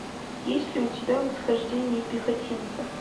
есть ли у тебя восхождение пехотинца